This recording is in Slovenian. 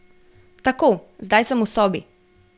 Tako, zdaj sem v sobi.